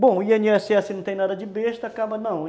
Bom, o i ene esse esse não tem nada de besta, acaba não.